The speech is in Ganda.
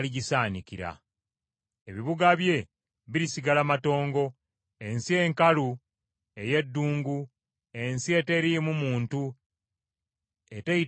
Ebibuga bye birisigala matongo, ensi enkalu ey’eddungu, ensi eteriimu muntu, eteyitamu muntu yenna.